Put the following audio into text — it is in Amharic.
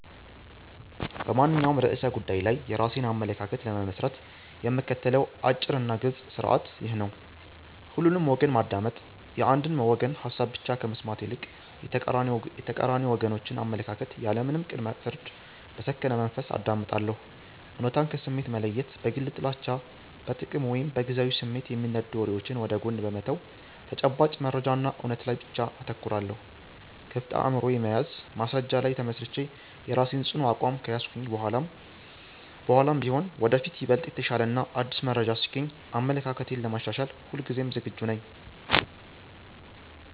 በማንኛውም ርዕሰ ጉዳይ ላይ የራሴን አመለካከት ለመመስረት የምከተለው አጭርና ግልጽ ሥርዓት ይህ ነው፦ ሁሉንም ወገን ማዳመጥ፦ የአንድን ወገን ሐሳብ ብቻ ከመስማት ይልቅ፣ የተቃራኒ ወገኖችን አመለካከት ያለምንም ቅድመ-ፍርድ በሰከነ መንፈስ አዳምጣለሁ። እውነታን ከስሜት መለየት፦ በግል ጥላቻ፣ በጥቅም ወይም በጊዜያዊ ስሜት የሚነዱ ወሬዎችን ወደ ጎን በመተው፣ በተጨባጭ መረጃና እውነት ላይ ብቻ አተኩራለሁ። ክፍት አእምሮ መያዝ፦ በማስረጃ ላይ ተመስርቼ የራሴን ጽኑ አቋም ከያዝኩ በኋላም ቢሆን፣ ወደፊት ይበልጥ የተሻለና አዲስ መረጃ ሲገኝ አመለካክቴን ለማሻሻል ሁልጊዜም ዝግጁ ነኝ።